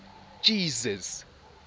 jesus